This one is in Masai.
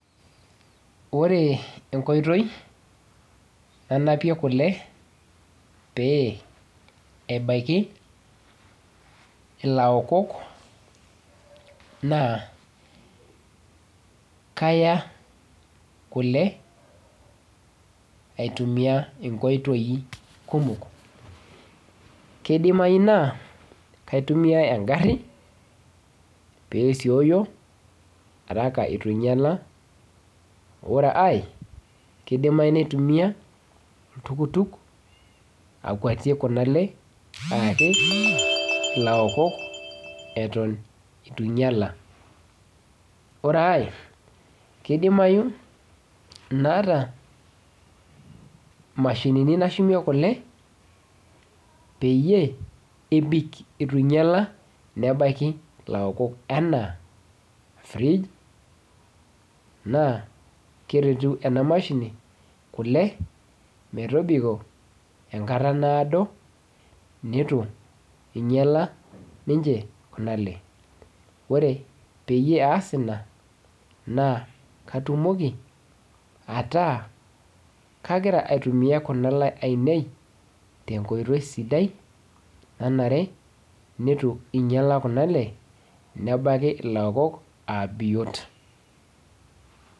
Ore enkoitoi nanapie kule pee ebaiki ilaokok naa kaya kule aitumia inkoitoi kumok, keidimayu naa kaitumia engarri peesioyo eituenyala, ore ae keidimayu naitumia oltukutuk akuatie kuna ale aaki ilaokok eton eitu einyala, oree ae keidimayu naata imashinini nashumie kule peyiee ebik eitu einyala nebaki ilokok enaa, fridge naa keretu ena mashini kule metobiko enkata naadoo neitu einyala ninche Kuna ale, ore peyie aas ina naa katumoki ataa kagira aitumia Kuna alee ainei teenkoitoi sidai nanare nitu einyala Kuna alee nebaiki ilaokok aa biot.